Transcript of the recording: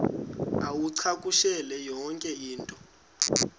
uwacakushele yonke into